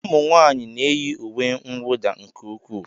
Ụmụnwaanyị na-eyi uwe mwụda nke ukwuu